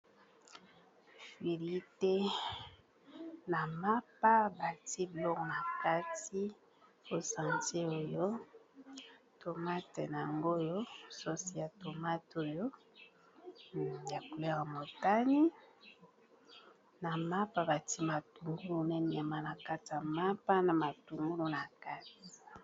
Filite na mapa batie biloko na kati po santir oyo tomate nango oyo sosi ya tomate oyo ya couleur ya motane na mapa batie matungulu na nyama na kati ya mapa na matungulu na kati.